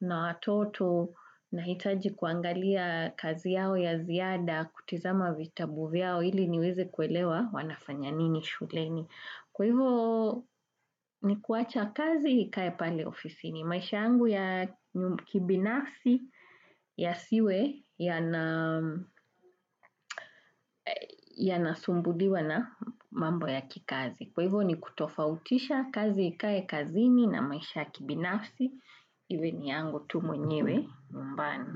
na watoto, na hitaji kuangalia kazi yao ya ziada, kutizama vitabu yao ili niweze kuelewa wanafanya nini shuleni. Kwa hivyo ni kuacha kazi ikae pale ofisi ni maisha yangu ya kibinafsi ya siwe ya nasumbuliwa na mambo ya kikazi. Kwa hivyo ni kutofautisha kazi ikae kazini na maisha kibinafsi iwe ni angu tu mwenyewe nyu mbani.